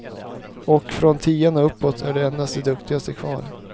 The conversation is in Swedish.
Och från tian och uppåt är endast de duktigaste kvar.